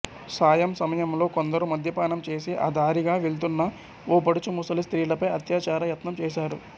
సాయంసమయంలో కొందరు మద్యపానం చేసి ఆ దారిగా వెళ్తున్న ఓ పడుచు ముసలి స్త్రీలపై అత్యాచార యత్నం చేశారు